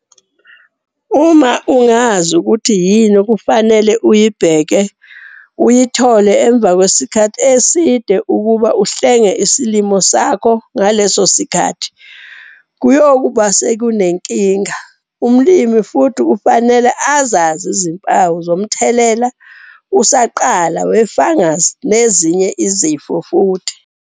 Uma ungazi ukuthi yini okufanele uyibheke uyothole emva kwesikhathi eside ukuba uhlenge isilimo sakho ngaleso sikhathi uyobe ngoba sekunenkinga. Umlimi futhi kufanele azazi izimpawu zomthelela usaqala we-fungus nezinye izifo futhi.